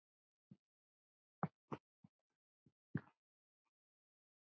En þetta er bara ég.